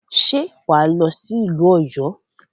Ṣe wà á lọ sí ìlú Ọ̀yọ́?